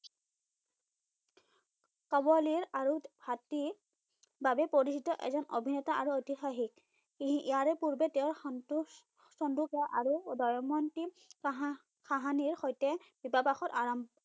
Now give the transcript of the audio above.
কাবলিৰ আৰু হাতীৰ বাবে পৰিচিত এজন অভিনেতা আৰু এটা ঐতিহাসিক এই ইয়াৰে পূৰ্বে তেওঁ সন্তোষ সন্তোষে আৰু বায়ুমন্তি চাহা চাহানিৰ সৈতে বিবাহ পাশত আৰাম